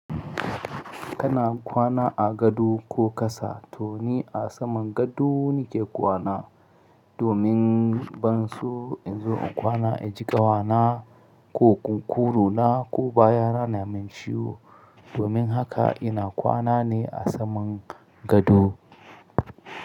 Kana kwana a gado ko kasa? To ni a saman gado nake kwana domin bansu in zo a kwana, a jiƙa kwana ko kurkukunna ko baya na na min ciwo. Domin haka ina kwana ne a saman gado.